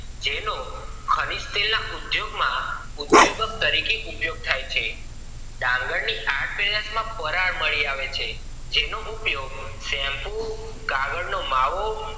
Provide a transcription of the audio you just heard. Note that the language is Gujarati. જેનો ખરીદ તેલના ઉદ્યાગ માં ઉધ્યક તરીકે ઉપયોગ થાય છે ડાંગર ના આ પેદાશ માં ફરાર મળી આવે છે જેનો ઉપયોગ શેમ્પૂ કાગળ નો માવો વગેરે